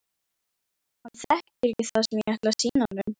Hann þekkir ekki það sem ég ætla að sýna honum.